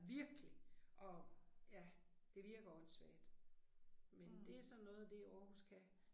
Virkelig. Og ja, det virker åndssvagt. Men det er sådan noget af det, Aarhus kan